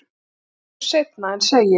Margt verður seinna en segir.